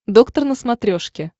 доктор на смотрешке